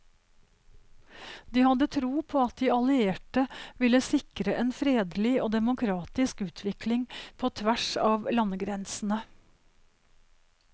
De hadde tro på at de allierte ville sikre en fredelig og demokratisk utvikling på tvers av landegrensene.